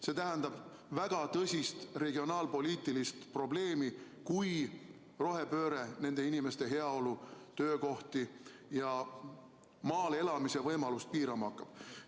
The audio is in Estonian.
See tähendab väga tõsist regionaalpoliitilist probleemi, kui rohepööre nende inimeste heaolu, töökohti ja maal elamise võimalust piirama hakkab.